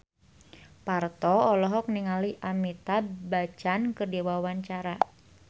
Parto olohok ningali Amitabh Bachchan keur diwawancara